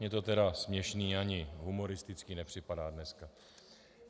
Mně to tedy směšné ani humoristické nepřipadá dneska.